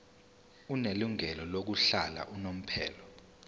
onelungelo lokuhlala unomphela